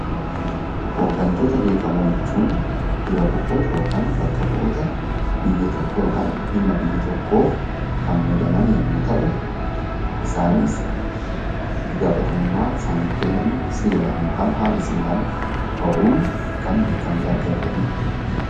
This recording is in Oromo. Hooggantoota bebbeekamoo jechuun dura bu'oota yookaan bakka bu'ootaa biyya tokkoo yookaan dhimma biyya tokkoof kan muudaman yommuu ta'u, isaanis itti gaafatamummaa isaaniif kenname seeraan yookaan haala seeraan bahuun kan beekamtii argataniidha.